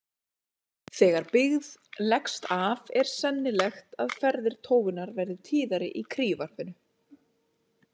Þegar byggð leggst af er sennilegt að ferðir tófunnar verði tíðari í kríuvarpinu.